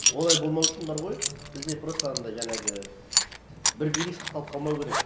олай болмау үшін бар ғой бізде просто анандай жаңағы бір билік сақталып қалмау керек